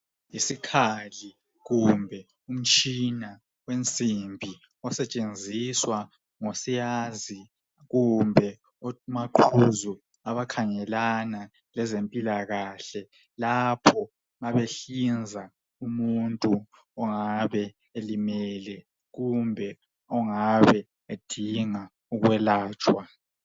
Yisikhali kumbe umtshina wensimbi osetshenziswa ngosiyazi kumbe omaqhuzu abakhangelana lezempilakahle lapho ma behlinza umuntu ongabe elimele kumbe ongabe edinga ukwelatshwa .